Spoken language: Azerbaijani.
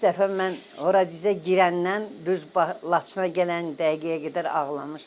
İlk dəfə mən ora dizə girəndən düz Laçına gələn dəqiqəyə qədər ağlamışam.